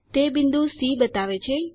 તે બિંદુ સી બતાવે છે